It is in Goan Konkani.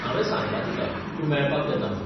हावें सांगलां तिका तूं मेळपाक येता म्हूण.